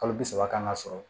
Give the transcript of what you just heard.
Kalo bi saba kan ka sɔrɔ